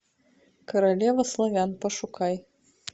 королева славян пошукай